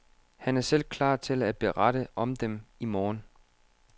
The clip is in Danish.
Han er selv klar til at berette om dem i morgen.